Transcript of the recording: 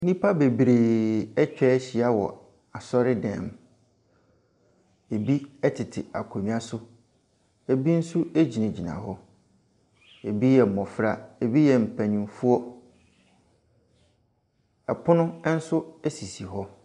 Nnipa bebree atwahyia wɔ asɔredan mu. Ebi ɛtete akonnwa so, ebi nso egyinagyina hɔ. Ebi yɛ mmɔfra, ebi yɛ mpanyinfoɔ. Ɛpono ɛnso esisi hɔ.